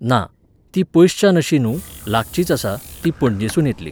ना, तीं पयसच्यान अशीं न्हू, लागचींच आसा, तीं पणजेसून येतलीं.